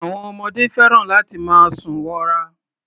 Àwọn ọmọdé fẹ́ràn láti máa sùn wọra.